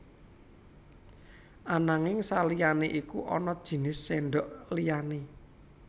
Ananging saliyané iku ana jinis sèndhok liyané